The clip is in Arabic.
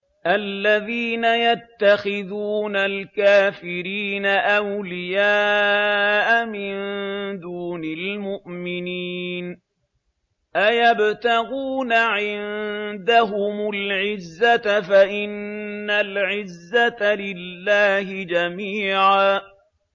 الَّذِينَ يَتَّخِذُونَ الْكَافِرِينَ أَوْلِيَاءَ مِن دُونِ الْمُؤْمِنِينَ ۚ أَيَبْتَغُونَ عِندَهُمُ الْعِزَّةَ فَإِنَّ الْعِزَّةَ لِلَّهِ جَمِيعًا